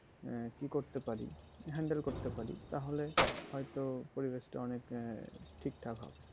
আহ কি করতে পারি, handle করতে পারি তাহলে হয়তো পরিবেশ টা অনেক মানে ঠিকঠাক